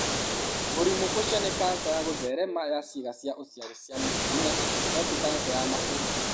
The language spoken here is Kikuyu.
Mũrimũ ũcio nĩ kanca ya gũtheerema ya ciĩga cia ũciari cia mũtumia no tĩ kanca ya mahũri.